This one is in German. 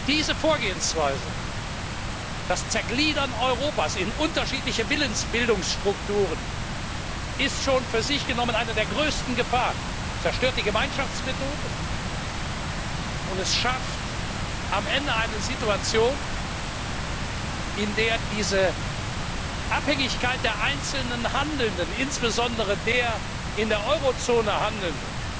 Diese Vorgehensweise, das Zergliedern Europas in unterschiedliche Willensbildungsstrukturen, ist schon für sich genommen eine der größten Gefahren, zerstört die Gemeinschaftsmethode und schafft am Ende eine Situation, in der die Abhängigkeit der einzelnen Handelnden, insbesondere der in der Euro Zone Handelnden,